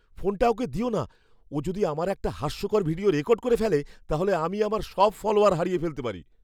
ফোনটা ওকে দিও না। ও যদি আমার একটা হাস্যকর ভিডিও রেকর্ড করে ফেলে, তাহলে আমি আমার সব ফলোয়ার হারিয়ে ফেলতে পারি।